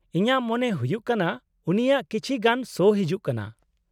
-ᱤᱧᱟᱹᱜ ᱢᱚᱱᱮ ᱦᱩᱭᱩᱜ ᱠᱟᱱᱟ ᱩᱱᱤᱭᱟᱜ ᱠᱤᱪᱷᱤ ᱜᱟᱱ ᱥᱳ ᱦᱤᱡᱩᱜ ᱠᱟᱱᱟ ᱾